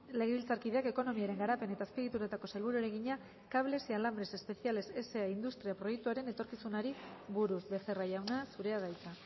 legebiltzarkideak ekonomiaren garapen eta azpiegituretako sailburuari egina cables y alambres especiales sa industria proiektuaren etorkizunari buruz becerra jauna zurea da hitza